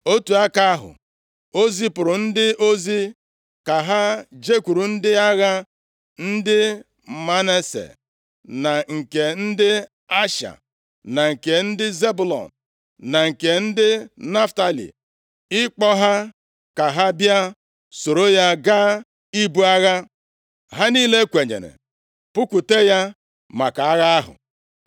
Otu aka ahụ, o zipụrụ ndị ozi ka ha jekwuru ndị agha ndị Manase, na nke ndị Asha, na nke ndị Zebụlọn, na nke ndị Naftalị, ịkpọ ha ka ha bịa soro ya gaa ibu agha. Ha niile kwenyere pụkwute ya maka agha ahụ.